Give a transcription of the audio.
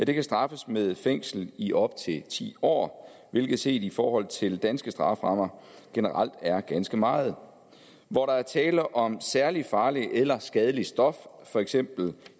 kan straffes med fængsel i op til ti år hvilke set i forhold til danske strafferammer generelt er ganske meget hvor der er tale om særlig farlige eller skadelige stoffer for eksempel